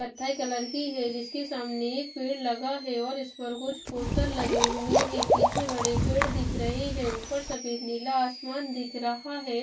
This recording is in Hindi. कथई कलर की है जिसके सामने एक पेड़ लगा है और इस पर कुछ पोस्टर लगे हुए हैं पीछे बड़े पेड़ दिख रहे हैं ऊपर सफेद नीला आसमान दिख रहा है।